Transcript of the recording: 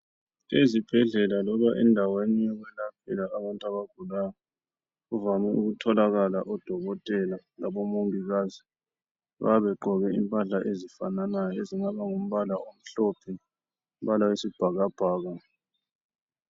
Ezibhedlela loba endaweni yokwelaphela abantu abagulayo kuvame ukutholakala odokothela labomongikazi. Bayabe begqoke impahla ezifananayo. Ezingaba ngumbala omhlophe ,umbala wesibhakabhaka.